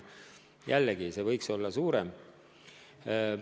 Jällegi, see protsent võiks olla suurem.